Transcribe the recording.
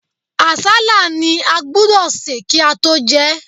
Àsálà ni a gbúdọ̀ sè kí á tó jẹ.